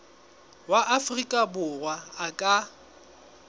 wa afrika borwa a ka